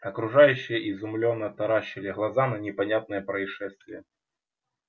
окружающие изумлённо таращили глаза на непонятное происшествие